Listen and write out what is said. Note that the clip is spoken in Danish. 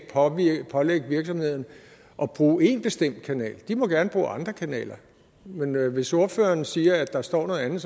pålægge virksomhederne at bruge en bestemt kanal de må gerne bruge andre kanaler men hvis ordføreren siger at der står noget andet